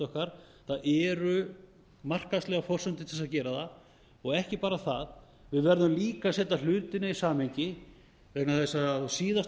okkar það eru markaðslegar forsendur til þess að gera það og ekki bara það við verðum líka að setja hlutina í samhengi vegna þess að